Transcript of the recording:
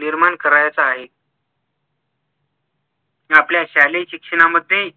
निर्माण करायच आहे आपल्या शालेय शिक्षणामध्ये